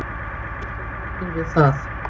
Bindur þú vonir við það?